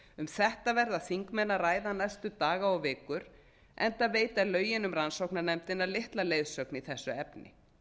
um þetta verða þingmenn að ræða næstu daga og vikur enda veita lögin um rannsóknarnefndina litla leiðsögn í þessu efni